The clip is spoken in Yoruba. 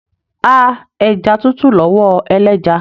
A ẹja tútù lọwọ ẹlẹja.